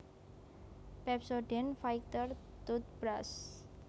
Pepsodent Fighter Tootbrush